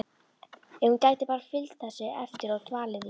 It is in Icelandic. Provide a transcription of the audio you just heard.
Ef hún gæti bara fylgt þessu eftir og dvalið í